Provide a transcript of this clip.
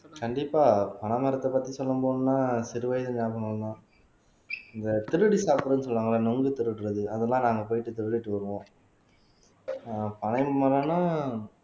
கண்டிப்பா பனை மரத்தைப் பத்தி சொல்லப் போனா சிறு வயசு ஞாபகம்தான் இந்த திருடி சாப்பிடுன்னு சொல்லுவாங்கல்ல நுங்கு திருடுறது அதெல்லாம் நாங்க போயிட்டு திருடிட்டு வருவோம் ஆஹ் பனை மரம்னா